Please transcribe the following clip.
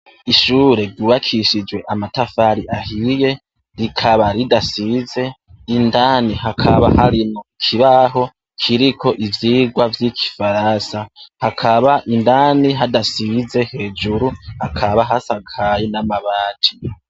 Ishure ry' ubakishijwe amatafari ahiye rikaba ridasize, indani hakaba harimwo ikibaho kiriko ivyigwa vyigifaransa, hakaba indani hadasize hejuru hakaba hasakaye n' amabati.